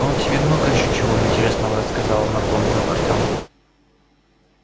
он тебе много ещё чего интересного рассказал напомнил артём